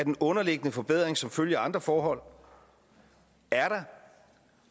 en underliggende forbedring som følge af andre forhold